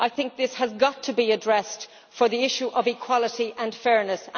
I think this has got to be addressed for the issue of equality and fairness.